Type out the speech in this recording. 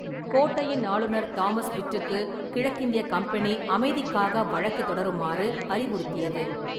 கோட்டையின் ஆளுநர் தாமஸ் பிட்டுக்கு கிழக்கிந்திய கம்பெனி அமைதிக்காக வழக்குத் தொடருமாறு அறிவுறுத்தியது.